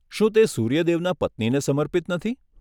શું તે સૂર્ય દેવના પત્નીને સમર્પિત નથી?